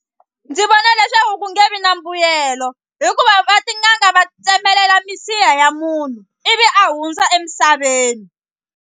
Ndzi vona leswaku ku nge vi na mbuyelo hikuva va tin'anga va tsemelela misiha ya munhu ivi a hundza emisaveni.